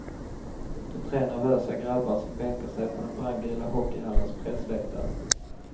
De är tre nervösa grabbar som bänkar sig på den brandgula hockeyhallens pressläktare.